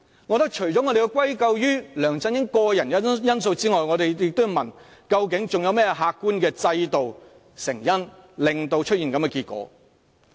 我覺得除了要歸咎於梁振英個人的因素之外，我們亦要問，究竟還有甚麼客觀的制度、成因導致出現這樣的結果？